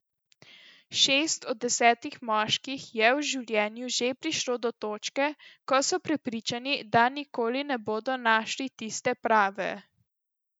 Šest od desetih moški je v življenju že prišlo do točke, ko so prepričani, da nikoli ne bodo našli tiste prave.